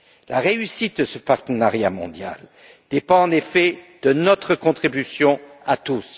La réussite de ce partenariat mondial dépend en effet de notre contribution à tous.